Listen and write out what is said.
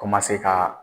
Komase ka